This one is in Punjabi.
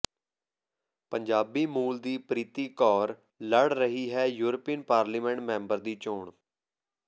ਪੰਜਾਬੀ ਮੂਲ ਦੀ ਪ੍ਰੀਤੀ ਕੌਰ ਲੜ ਰਹੀ ਹੈ ਯੂਰਪੀਨ ਪਾਰਲੀਮੈਂਟ ਮੈਂਬਰ ਦੀ ਚੋਣ